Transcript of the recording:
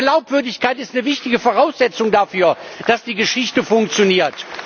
Glaubwürdigkeit ist eine wichtige Voraussetzung dafür, dass die Geschichte funktioniert.